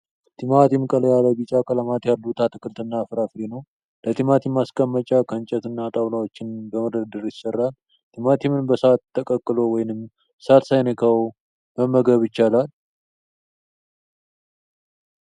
ቲማቲም ቀላ ያለ ቢጫ ቀለማት ያሉት አትክልት እና ፍራፍሬ ነው። ለቲማቲም ማስቀመጫ ከእንጨት እና ጣውላዎችን በመደርደር ይሰራል። ቲማቲምን በሳት ተቀቅሎ ወይንም ሳት ሳይነካው መመገብ ይቻላል።